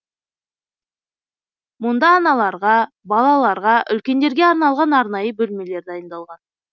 мұнда аналарға балаларға үлкендерге арналған арнайы бөлмелер дайындалған